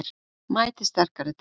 Mæti sterkari til leiks